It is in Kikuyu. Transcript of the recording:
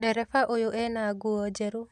Ndereba ũyũ ena nguo njerũ